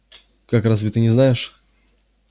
как разве ты не знаешь